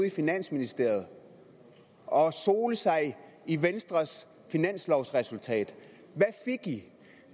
i finansministeriet og sole sig i venstres finanslovsresultat